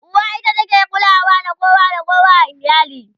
uwa ita ke kulawa da kowa da kowa a iyali